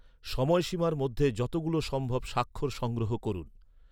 সময়সীমার মধ্যে যতগুলো সম্ভব স্বাক্ষর সংগ্রহ করুন।